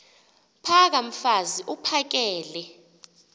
phaka mfaz uphakele